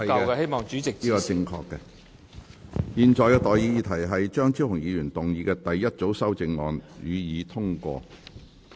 我現在向各位提出的待議議題是：張超雄議員動議的第一組修正案，予以通過。